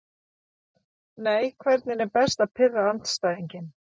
Nei Hvernig er best að pirra andstæðinginn?